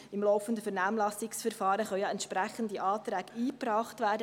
Im laufenden Vernehmlassungsverfahren können entsprechende Anträge eingebracht werden.